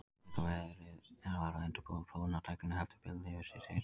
Þegar verið var að undirbúa prófanir á tækinu hellti Bell yfir sig sýru.